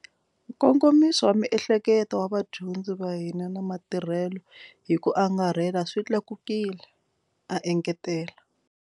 Nkongomiso wa miehleketo wa vadyondzi va hina na matirhelo hi ku angarhela swi tlakukile, a engetela.